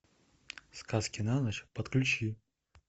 сказки на ночь подключи